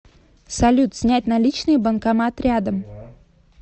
салют снять наличные банкомат рядом